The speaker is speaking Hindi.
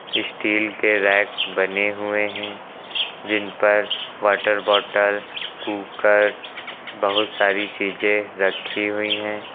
स्टील के रैक बने हुए हैं जिन पर वॉटर बॉटल कुकर बहोत सारी चीजें रखी हुई हैं।